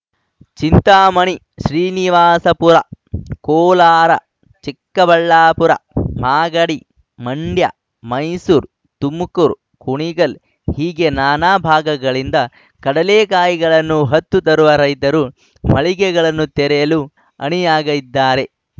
ಚಿಂತಾಮಣಿ ಶ್ರೀನಿವಾಸಪುರ ಕೋಲಾರ ಚಿಕ್ಕಬಳ್ಳಾಪುರ ಮಾಗಡಿ ಮಂಡ್ಯ ಮೈಸೂರು ತುಮಕೂರು ಕುಣಿಗಲ್ ಹೀಗೆ ನಾನಾ ಭಾಗಗಳಿಂದ ಕಡಲೆಕಾಯಿಗಳನ್ನು ಹೊತ್ತು ತರುವ ರೈತರು ಮಳಿಗೆಗಳನ್ನು ತೆರೆಯಲು ಅಣಿಯಾಗಿದ್ದಾರೆ